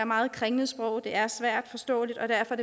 meget kringlet sprog det er svært forståeligt og derfor